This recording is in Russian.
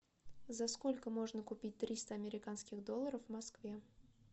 за сколько можно купить триста американских долларов в москве